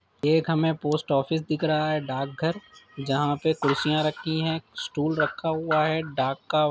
एक हमें post office दिख रहा है डाकघर जहां पे कुर्सियाँ रखी हैं स्टूल रखा हुआ है डाक का---